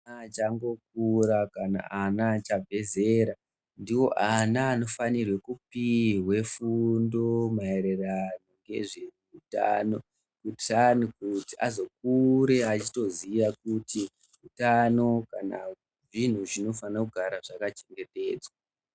Ana achangokura kana ana achabve zera ndiwo ana anofanira kupihwe fundo maererano nezve utano kuitira kuti azokure achitoziye kuti utano hunofanire kugara hwakachengetedzwa.